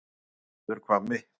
Suðurhvammi